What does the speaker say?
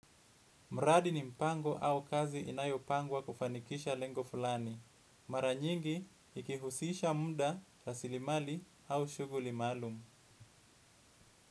Mradi ni mpango au kazi inayopangwa kufanikisha lengo fulani. Mara nyingi ikihusisha muda rasilimali au shughuli maalumu.